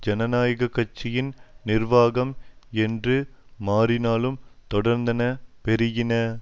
ஜனநாயக கட்சியின் நிர்வாகம் என்று மாறினாலும் தொடர்ந்தன பெருகின